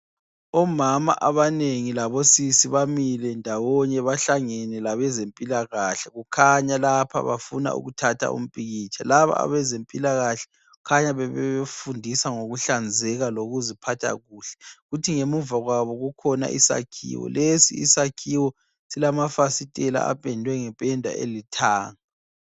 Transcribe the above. Omama abanengi labosisi bamile ndawonye bahlangene labezempilakahle. Kukhanya lapha bafuna ukuthatha umpikitsha. Laba abezempilakahle khanya bebefundisa ngokuhlanzeka lokuziphathakuhle. Kuthi ngemuva kwabo kukhona isakhiwo, lesi isakhiwo silamafasitela apendwe ngependa elithanga.